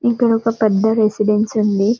ఇక్కడొక పెద్ద రెసిడెన్స్ ఉంది.